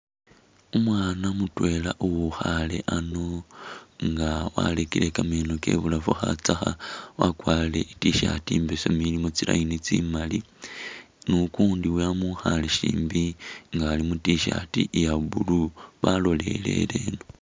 Umwana mutwela uwukhale ano nga warekele kameno kebulafu khatsakha wakwarire i'tshirt imbesemu ilimo tsi line tsimaali ,ni ukundi wamukhale shimbi nga Ali mu tshirt iya blue balolelele eno